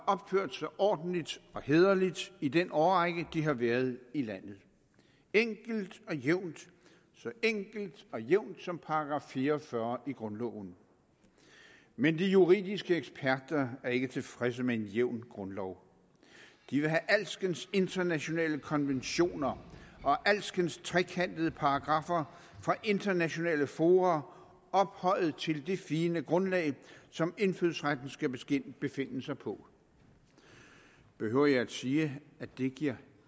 opført sig ordentligt og hæderligt i den årrække de har været i landet enkelt og jævnt så enkelt og jævnt som § fire og fyrre i grundloven men de juridiske eksperter er ikke tilfredse med en jævn grundlov de vil have alskens internationale konventioner og alskens trekantede paragraffer fra internationale fora ophøjet til det fine grundlag som indfødsretten skal skal befinde sig på behøver jeg at sige at det giver